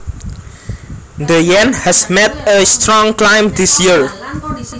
The Yen has made a strong climb this year